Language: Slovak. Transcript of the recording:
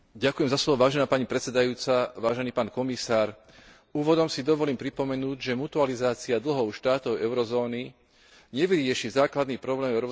Úvodom si dovolím pripomenúť, že mutualizácia dlhov štátov eurozóny nevyrieši základný problém Európskej únie, ktorým je strata konkurencieschopnosti.